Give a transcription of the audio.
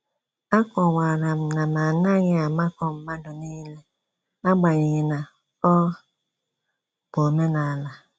A kọwara m na m anaghị amakọ mmadụ niile, agbanyeghi na-ọ bụ omenala